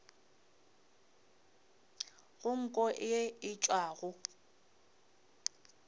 go nko ye e tšwago